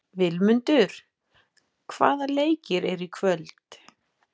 Vilmundur, hvaða leikir eru í kvöld?